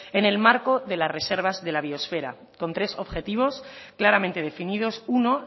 en el marco de las reservas de la biosfera con tres objetivos claramente definidos uno